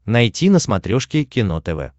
найти на смотрешке кино тв